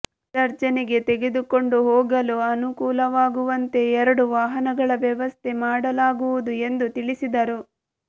ವಿಸರ್ಜನೆಗೆ ತೆಗೆದುಕೊಂಡು ಹೋಗಲು ಅನುಕೂಲವಾಗುವಂತೆ ಎರಡು ವಾಹನಗಳ ವ್ಯವಸ್ಥೆ ಮಾಡಲಾಗುವುದು ಎಂದು ತಿಳಿಸಿದರು